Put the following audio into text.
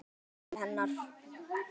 Hún brosir til hennar.